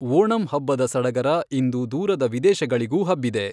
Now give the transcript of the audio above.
ಓಣಂ ಹಬ್ಬದ ಸಡಗರ ಇಂದು ದೂರದ ವಿದೇಶಗಳಿಗೂ ಹಬ್ಬಿದೆ.